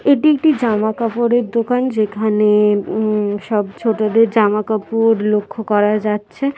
এটি একটি জামা কাপড়ের দোকান। যেখানে - এ ও-ম ও-ম সব ছোটদের জামাকাপড় লক্ষ্য করা যাচ্ছে ।